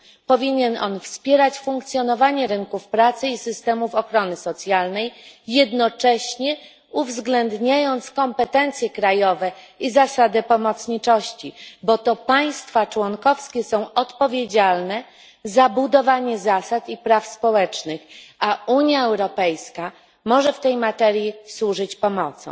Powinien on wspierać funkcjonowanie rynków pracy i systemów ochrony socjalnej, jednocześnie uwzględniając kompetencje krajowe i zasadę pomocniczości, bo to państwa członkowskie są odpowiedzialne za budowanie zasad i praw społecznych, a Unia Europejska może w tej materii służyć pomocą.